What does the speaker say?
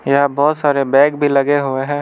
यहां बहोत सारे बैग भी लगे हुए हैं।